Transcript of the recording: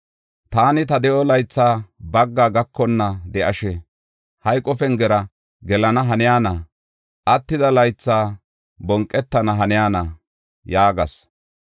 Taani, “Ta de7o laythay bagga gakonna de7ishin, hayqo pengera gelana haniyana? Attida laytha bonqetana haniyana?” yaagas.